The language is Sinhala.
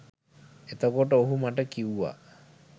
එතකොට ඔහු මට කිව්වා